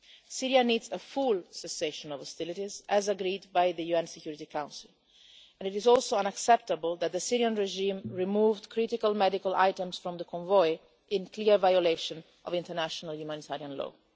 Syria needs a full cessation of hostilities as agreed by the UN Security Council, and it is also unacceptable that the Syrian regime removed critical medical items from the convoy in clear violation of international humanitarian law.